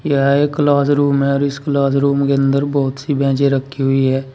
यह एक classroom है और इस क्लासरूम के अंदर बहुत सी बैंचें रखी हुई हैं।